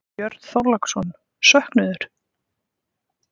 Björn Þorláksson: Söknuður?